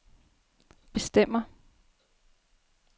bestemmer